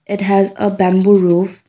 It has a bamboo roof.